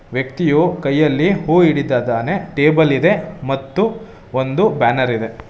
ವ್ಯಕ್ತಿಯು ಕೈಯಲ್ಲಿ ಹೂ ಹಿಡಿತದಾನೆ ಟೇಬಲ್ ಇದೆ ಮತ್ತು ಒಂದು ಬ್ಯಾನರ್ ಇದೆ.